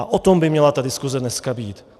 A o tom by měla ta diskuse dneska být.